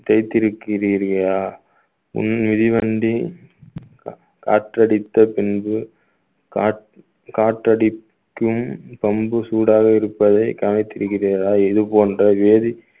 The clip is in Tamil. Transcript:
தேய்த்திருக்கிறீர்களா உன் மிதிவண்டி கா~ காற்றடித்த பின்பு காற்~ காற்றடிக்கும் பம்பு சூடாக இருப்பதை கவனித்திருக்கிறீர்களா இது போன்ற வேதி